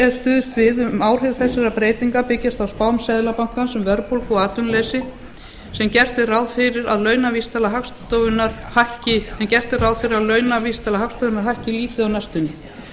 er stuðst við um áhrif þessara breytinga byggjast á spám seðlabankans um verðbólgu og atvinnuleysi en gert er ráð fyrir að launavísitala hagstofunnar hækki lítið á næstunni